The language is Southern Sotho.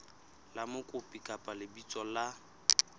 la mokopi kapa lebitso la